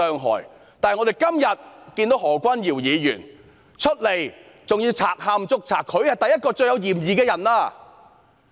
可是，今天何君堯議員卻賊喊捉賊，他便是最有嫌疑的人。